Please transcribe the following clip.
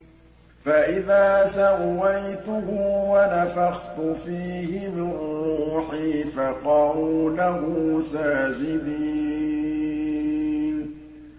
فَإِذَا سَوَّيْتُهُ وَنَفَخْتُ فِيهِ مِن رُّوحِي فَقَعُوا لَهُ سَاجِدِينَ